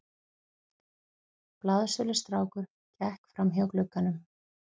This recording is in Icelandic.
Blaðsölustrákur gekk framhjá glugganum.